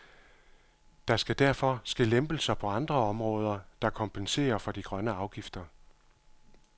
Der skal derfor ske lempelser på andre områder, der kompenserer for de grønne afgifter.